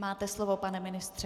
Máte slovo, pane ministře.